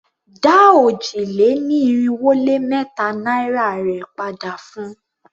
Dá òjì-lé-ní-irinwó-lé-mẹ́ta naira rè padà fun!